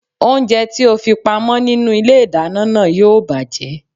Oúnjẹ tí o fi pa mọ́ nínú ilé ìdáná náà yóò bàjẹ́